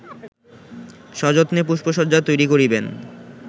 সযত্নে পুষ্পশয্যা তৈরী করিবেন